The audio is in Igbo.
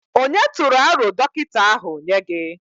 Ònye tụrụ aro dọkịta ahụ nye gị?